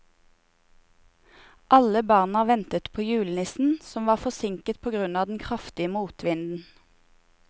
Alle barna ventet på julenissen, som var forsinket på grunn av den kraftige motvinden.